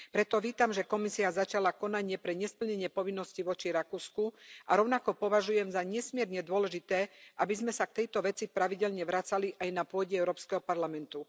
Preto vítam, že Komisia začala konanie pre nesplnenie povinnosti voči Rakúsku a rovnako považujem za nesmierne dôležité, aby sme sa k tejto veci pravidelne vracali aj na pôde Európskeho parlamentu.